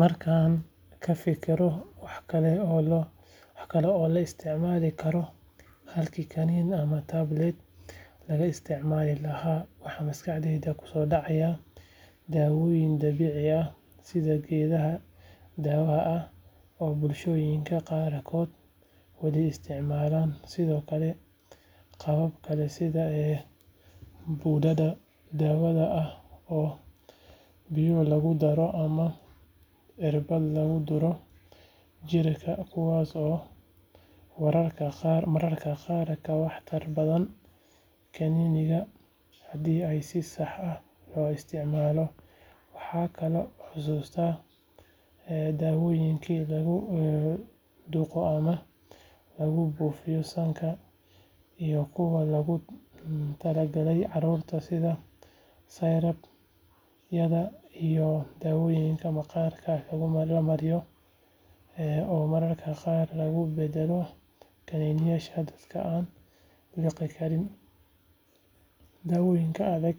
Markaan ka fikiro wax kale oo la isticmaali karo halkii kaniini ama tablet laga isticmaali lahaa waxaa maskaxdayda ku soo dhacaya dawooyinka dabiiciga ah sida geedaha daawada ah oo bulshooyinka qaarkood wali isticmaalaan sidoo kale qaabab kale sida budada daawada ah oo biyo lagu daro ama irbado lagu duro jirka kuwaas oo mararka qaar ka waxtar badan kaniiniyada haddii ay si sax ah loo isticmaalo waxaan kaloo xusuustaa daawooyinka lagu dhuuqo ama lagu buufiyo sanka iyo kuwa loogu tala galay caruurta sida syrup-yada iyo daawooyinka maqaarka lagu mariyo oo mararka qaar lagu bedelo kaniiniyaasha dadka aan liqi karin dawooyinka adag